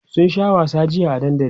sun Sha wasa jiya a dandali